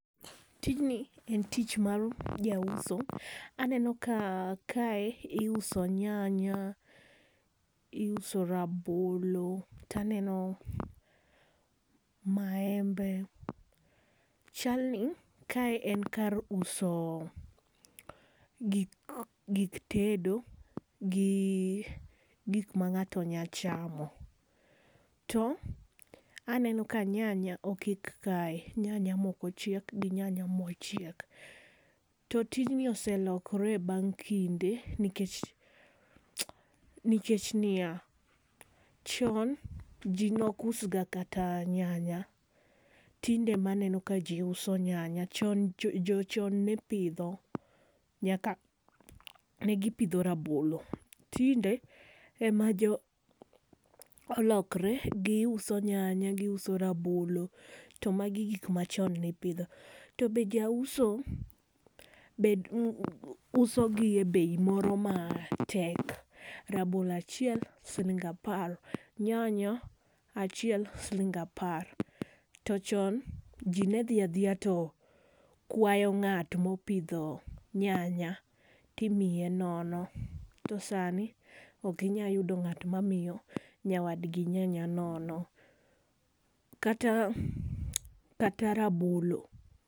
Tijni en tich mar jauso aneno ka kae iuso nyanya, iuso rabolo, to aneno maembe. Chalni kae en kar uso gik gik tedo gi gik ma ngato nya chamo. To aneno ka nyanya okik kae ,nyanya ma ochiek gi nyanya ma ok ochiek. To tijni oselokore bang kinde nikech ni ya, chon ji ne ok us ga kata nyanya, tinde ema aneno ka ji uso nyanya, chon jo chon ne pidho nyanya ne gi pidho rabolo. Tinde ema olokre gi uso nyanya , gi uso rabolo, to ma gi gik ma chon ne ipidho. To be jauso bet be uso gi e bei moro ma tek, rabolo achiel siling apar, nyanya achiel siling apar. To chon ji ne dhi adhiya to kwayo ngato ma opidho nyanya to imiye nono. To saa ni ok inya yudo ngato ma miyo nyawad gi nyanya nono, kata rabolo.